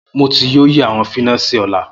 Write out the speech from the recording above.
Mo ti yoo yi awọn finasi ọla